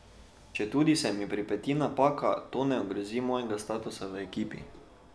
Četudi se mi pripeti napaka, to ne ogrozi mojega statusa v ekipi.